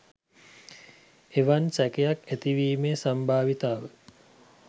එවන් සැකයක් ඇතිවීමේ සම්භාවිතාව